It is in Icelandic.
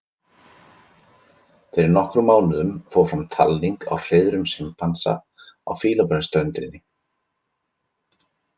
Fyrir nokkrum mánuðum fór fram talning á hreiðrum simpansa á Fílabeinsströndinni.